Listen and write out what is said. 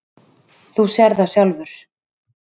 Þú sérð það sjálfur.